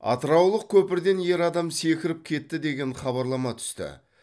атыраулық көпірден ер адам секіріп кетті деген хабарлама түсті